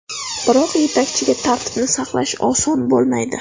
Biroq yetakchiga tartibni saqlash oson bo‘lmaydi.